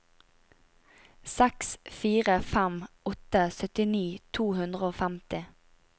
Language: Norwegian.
seks fire fem åtte syttini to hundre og femti